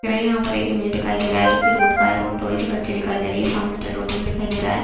देक रहे है यह एक इमेज दिखाई दे रहा है जो की रोड का है रोड थोड़ी सी कच्ची दिखाई दे रही है सामने पेट्रोल पंप दिखाई दे रहा है।